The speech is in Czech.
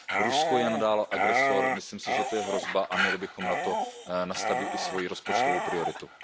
Rusko je nadále agresor, myslím si, že to je hrozba a měli bychom na to nastavit i svoji rozpočtovou prioritu.